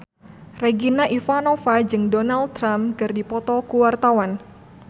Regina Ivanova jeung Donald Trump keur dipoto ku wartawan